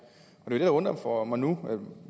det der undrer mig nu